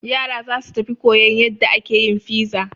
Yara za su tafi koyan yadda ake yin fiza.